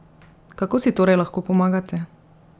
Kako si torej lahko pomagate?